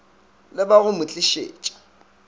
le ba go mo tlišetša